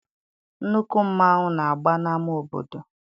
Nnukwu mmanwụ na-agba n'ama obodo